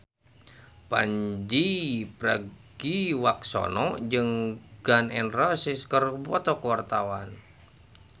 Pandji Pragiwaksono jeung Gun N Roses keur dipoto ku wartawan